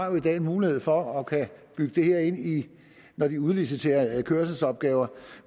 jo i dag har mulighed for at kunne bygge det her ind når de udliciterer kørselsopgaver